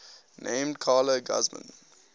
named carla guzman